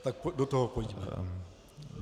Tak do toho pojďme.